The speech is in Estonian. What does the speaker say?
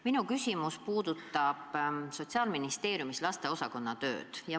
Minu küsimus puudutab Sotsiaalministeeriumi lasteosakonda.